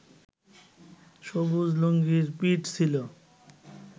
সবুজ লুঙ্গির পিঠ ছিল